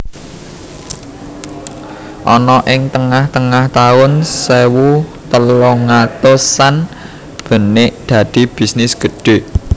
Ana ing tengah tengah taun sewu telung atusan benik dadi bisnis gedhe